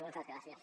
moltes gràcies